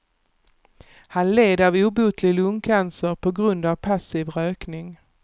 Han led av obotlig lungcancer på grund av passiv rökning.